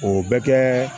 O bɛ kɛ